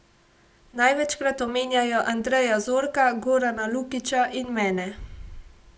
Največkrat omenjajo Andreja Zorka, Gorana Lukiča in mene.